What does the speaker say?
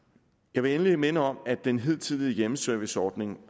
jeg vil endelig minde om at den hidtidige hjemmeserviceordning